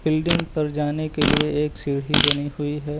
Building पर जाने के लिए एक सीढ़ी बनी हुई है।